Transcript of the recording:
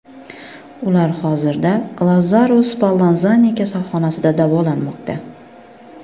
Ular hozirda Lazzaro Spallanzani kasalxonasida davolanmoqda.